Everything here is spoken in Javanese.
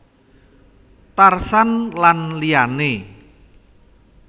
Tarsan lan liyané